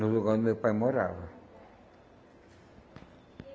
No lugar onde meu pai morava.